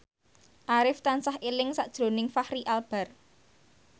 Arif tansah eling sakjroning Fachri Albar